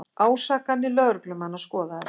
Ásakanir lögreglumanna skoðaðar